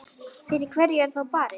Fyrir hverju er þá barist?